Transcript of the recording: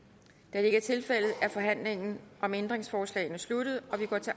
da det ikke er tilfældet er forhandlingen om ændringsforslagene sluttet og vi går til